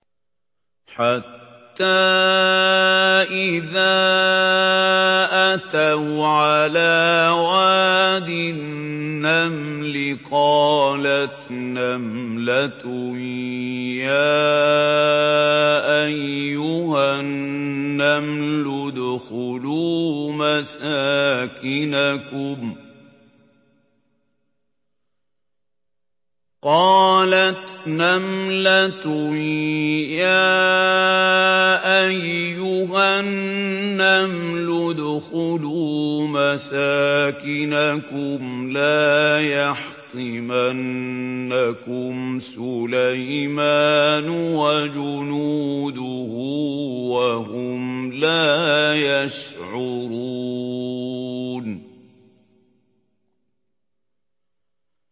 حَتَّىٰ إِذَا أَتَوْا عَلَىٰ وَادِ النَّمْلِ قَالَتْ نَمْلَةٌ يَا أَيُّهَا النَّمْلُ ادْخُلُوا مَسَاكِنَكُمْ لَا يَحْطِمَنَّكُمْ سُلَيْمَانُ وَجُنُودُهُ وَهُمْ لَا يَشْعُرُونَ